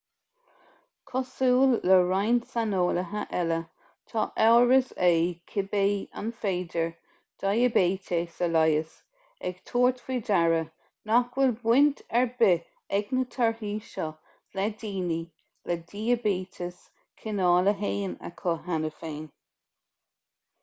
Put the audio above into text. cosúil le roinnt saineolaithe eile tá amhras air cibé an féidir diaibéiteas a leigheas ag tabhairt faoi deara nach bhfuil baint ar bith ag na torthaí seo le daoine le diaibéiteas cineál 1 acu cheana féin